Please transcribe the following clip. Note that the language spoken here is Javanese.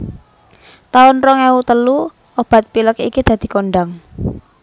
taun rong ewu telu obat pilek iki dadi kondhang